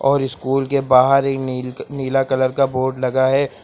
और स्कूल के बाहर एक नील नीला कलर का बोर्ड लगा है।